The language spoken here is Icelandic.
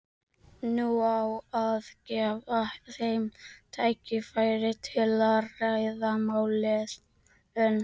Nú á að gefa þeim tækifæri til að ræða málin.